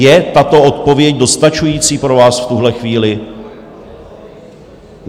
Je tato odpověď dostačující pro vás v tuhle chvíli?